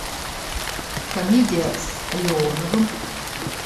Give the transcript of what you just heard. комедия с леоновым